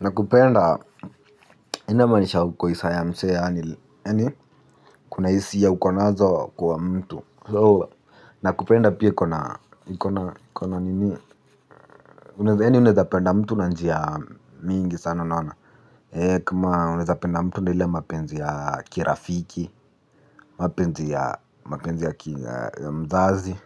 Nakupenda, ina manisha uko isaa ya msee yaani, kuna hisia ukonazo kwa mtu. Nakupenda pia ikona nini, unaweza yaani unaweza penda mtu na njia mingi sana unaona. Kama unawezapenda mtu na ile mapenzi ya kirafiki, mapenzi ya mzazi.